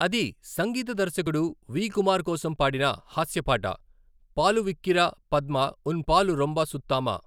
అది సంగీత దర్శకుడు వి. కుమార్ కోసం పాడిన హాస్య పాట 'పాలు విక్కిర పద్మ ఉన్ పాలు రోమ్బా సుత్తామా?'